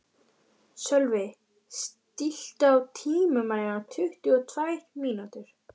Sölvi, stilltu tímamælinn á tuttugu og tvær mínútur.